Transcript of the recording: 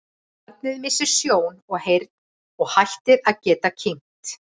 barnið missir sjón og heyrn og hættir að geta kyngt